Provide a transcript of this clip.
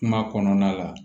Kuma kɔnɔna la